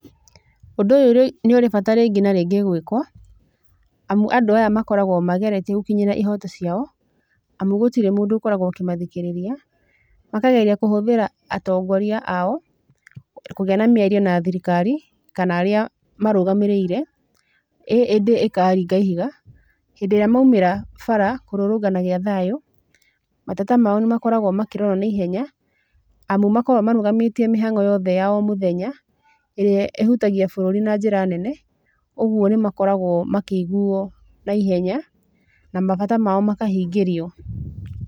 Ũndũ ũyũ nĩ ũrĩ bata rĩngĩ na rĩngĩ gwĩkuo, amu andũ aya makoragũo mageretie gũkinyĩra ihito ciao amu gũtirĩ mũndũ akoragũo akĩmathikĩrĩria. Makageria kũhũthĩra atongoria ao kũgĩa na mĩario na thirikari kana arĩa marũgamĩrĩire ĩ ĩndĩ ĩkaringa ihiga. Hĩndĩ ĩrĩa maumĩra bara kũrũrũngana gĩa thayũ mateta ma o nĩ makoragũo makĩrorũo na ihenya, amu makoragũo marũgamĩtie mĩhangʹo yothe ya o mũthenya ĩrĩa ĩhutagia bũrũri na njĩra nene. Ũguo nĩ makoragũo makĩiguo na ihenya na mabata mao makahingĩrio.